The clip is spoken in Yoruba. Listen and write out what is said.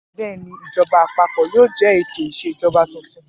Bẹ́ẹ̀ ni, ìjọba àpapọ̀ yóò jẹ ètò ìṣèjọba tuntun.